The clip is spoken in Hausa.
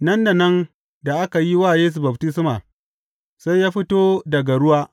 Nan da nan da aka yi wa Yesu baftisma, sai ya fito daga ruwa.